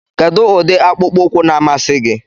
Kedu ụdị akpụkpọ ụkwụ na-amasị gị?